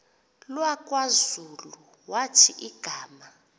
lakwazulu wathi igama